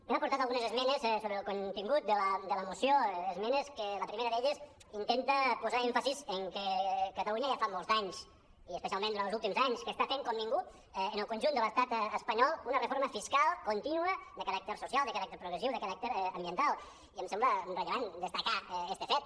hem aportat algunes esmenes sobre el contingut de la moció esmenes que la primera d’elles intenta posar èmfasi que catalunya ja fa molts d’anys i especial·ment durant els últims anys que està fent com ningú en el conjunt de l’estat es·panyol una reforma fiscal contínua de caràcter social de caràcter progressiu de caràcter ambiental i em sembla rellevant destacar este fet